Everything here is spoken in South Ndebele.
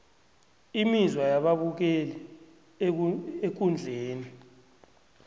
imizwa yababukeli ekundleni